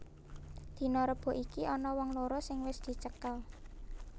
Dina Rebo iki ana wong loro sing wis dicekel